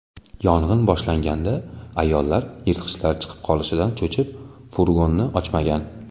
Yong‘in boshlanganda ayol yirtqichlar chiqib ketishidan cho‘chib, furgonni ochmagan.